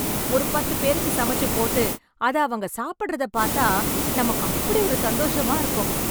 ஒரு பத்து பேருக்கு சமைச்சு போட்டு அத அவங்க சாப்பிடறத பாத்தா நமக்கு அப்டி ஒரு சந்தோஷமா இருக்கும்